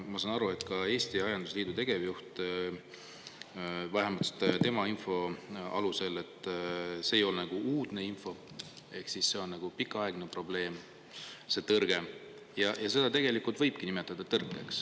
Ma saan aru, et ka Eesti Aiandusliidu tegevjuht, vähemalt tema info alusel, et see ei ole uudne info, ehk siis see on pikaaegne probleem, see tõrge ja seda tegelikult võibki nimetada tõrkeks.